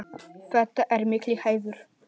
Þetta er mikill heiður.